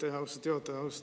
Aitäh, austatud juhataja!